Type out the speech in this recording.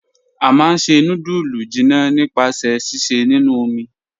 A máá n ṣẹ̀ nùdúlù jìnnà nípasẹ̀ síṣẹ̀ nínu omi."